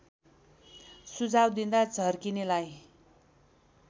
सुझाव दिँदा झर्किनेलाई